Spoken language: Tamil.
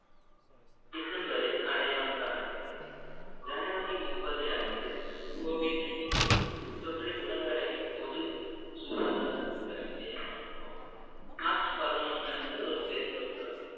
டிசம்பரில் அடையாளம் காணப்பட்டது ஜனவரி முப்பது அன்று covid nineteen தொற்றை உலக அளவில் பொது சுகாதார அவசரநிலையாகவும் மார்ச் பதினொண்ணு அன்று ஒரு பெருந்தொற்றாகவும்